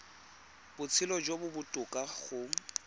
botshelo jo bo botoka go